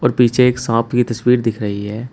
और पीछे एक सांप की तस्वीर दिख रही है।